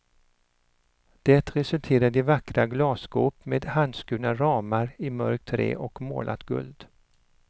Det resulterade i vackra glasskåp med handskurna ramar, i mörkt trä och målat guld.